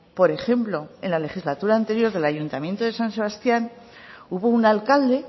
por ejemplo en la legislatura anterior del ayuntamiento de san sebastián hubo un alcalde